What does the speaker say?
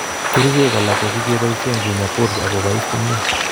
Kericheek alak kokikeboisien kinyaa POTS akoboiss komyee